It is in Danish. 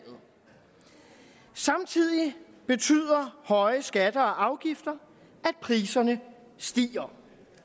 samtidig betyder høje skatter og afgifter at priserne stiger